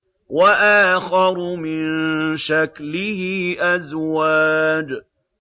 وَآخَرُ مِن شَكْلِهِ أَزْوَاجٌ